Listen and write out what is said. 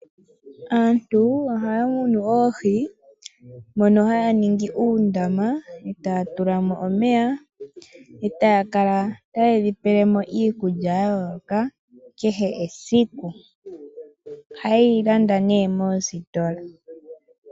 Aantu ohaya munu oohi, mono haya ningi uundama taya tula mo omeya e taya kala taye dhi pele mo iikulya yayooloka kehe esiku. Ohaye yi landa moositola.